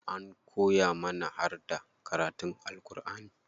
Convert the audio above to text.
An koya mana harda karatun Alku'ani.